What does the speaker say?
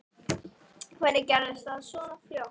Hvernig gerðist það svona fljótt?